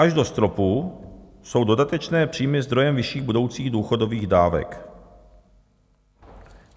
Až do stropu jsou dodatečné příjmy zdrojem vyšších budoucích důchodových dávek.